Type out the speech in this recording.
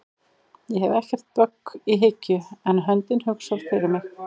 Ég hef ekkert bögg í hyggju en höndin hugsar fyrir mig